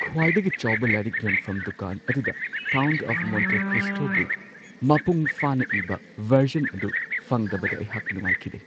ꯈ꯭ꯋꯥꯏꯗꯒꯤ ꯆꯥꯎꯕ ꯂꯥꯏꯔꯤꯛ ꯌꯣꯟꯐꯝ ꯗꯨꯀꯥꯟ ꯑꯗꯨꯗ "ꯀꯥꯎꯟꯠ ꯑꯣꯐ ꯃꯣꯟꯇꯤ ꯀ꯭ꯔꯤꯁꯇꯣ"ꯒꯤ ꯃꯄꯨꯡ ꯐꯥꯅ ꯏꯕ ꯚꯔꯖꯟ ꯑꯗꯨ ꯐꯪꯗꯕꯗ ꯑꯩꯍꯥꯛ ꯅꯨꯡꯉꯥꯏꯈꯤꯗꯦ ꯫